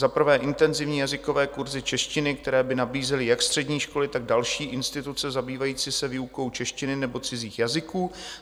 Za prvé, intenzivní jazykové kurzy češtiny, které by nabízely jak střední školy, tak další instituce zabývající se výukou češtiny nebo cizích jazyků.